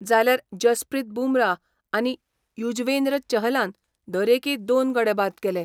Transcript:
जाल्यार जसप्रीत बुमराह आनी युजवेंद्र चहलान दरेकी दोन गडे बाद केले.